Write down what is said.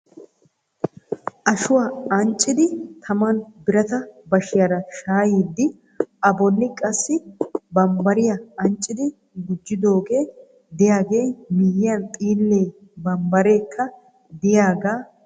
Ashuwa anccidi taman birata baasiyaara shayyidi a bolli qassi bambbariya anccidi gujidooge de'iyaaga miyyiyaan xiile bambbareka de'iyaaga miyyode keehippe lo"ees.